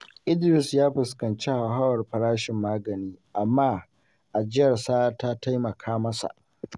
Idris ya fuskanci hauhawar farashin magani, amma ajiyarsa ta taimaka masa.